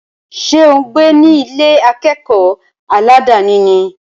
Ṣé ò ń gbé ní Ilé akẹ́kọ̀ọ́ aládàni ni?